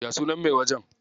Ya sunan mai wajen?